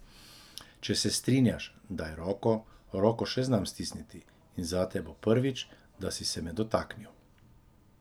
Če se strinjaš, daj roko, roko še znam stisniti, in zate bo prvič, da si se me dotaknil.